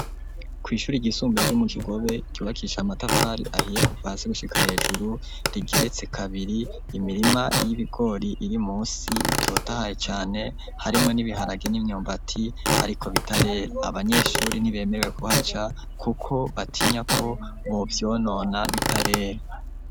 Kwishure ryisumbuye ryo mu Kigobe ryubakishije amatafari ahiye kuva hasi gushika hejuru, rigeretse kabiri. Imirima yibigori birimunsi bitotahaye cane harimwo nibiharage nimyumbati bitarera ,abanyeshure ntibemerewe kuhaca kuko batinya ko bovyonona bitarera.